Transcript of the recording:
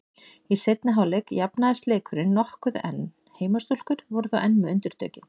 Í seinni hálfleik jafnaðist leikurinn nokkuð en heimastúlkur voru þó enn með undirtökin.